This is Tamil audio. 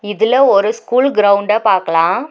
இதுல ஒரு ஸ்கூல் கிரவுண்ட பாக்கலா.